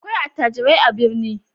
Akwai attajirai a birni.